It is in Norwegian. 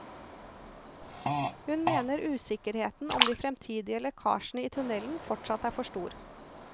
Han mener usikkerheten om de fremtidige lekkasjene i tunnelen fortsatt er for stor.